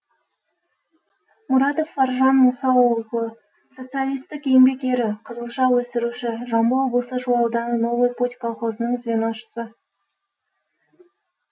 мұрадов фаржан мұса оглы социалистік еңбек ері қызылша өсіруші жамбыл облысы шу ауданы новый путь колхозының звеношысы